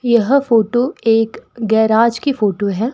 यह फोटो एक गैराज की फोटो है।